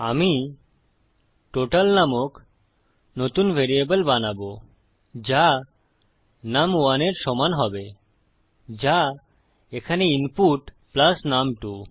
আমি টোটাল নামক নতুন ভ্যারিয়েবল বানাবো যা নুম1 এর সমান হবে যা এখানে ইনপুট প্লাস নুম2